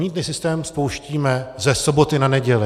Mýtný systém spouštíme ze soboty na neděli.